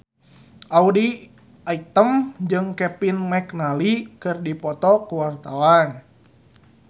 Audy Item jeung Kevin McNally keur dipoto ku wartawan